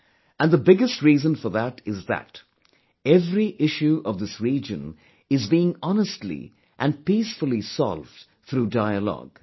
And the biggest reason for that is that every issue of this region is being honestly and peacefully solved through dialogue